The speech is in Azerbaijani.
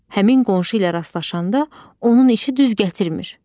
Həmin qonşu ilə rastlaşanda onun işi düz gətirmir.